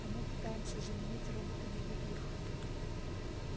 а мы пытаемся заменить роботами и их